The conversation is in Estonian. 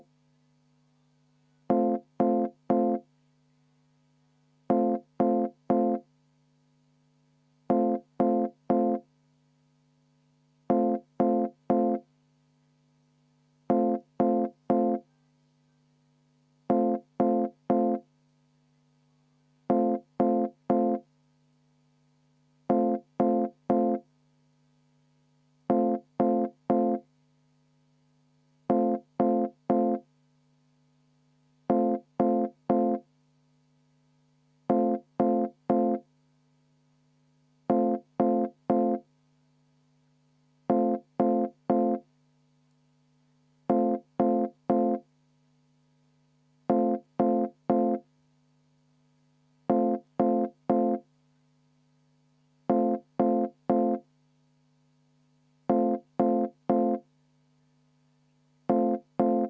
V a h e a e g